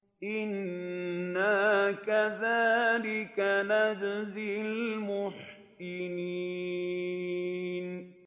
إِنَّا كَذَٰلِكَ نَجْزِي الْمُحْسِنِينَ